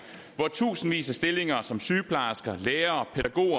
hvor tusindvis af stillinger som sygeplejersker lærere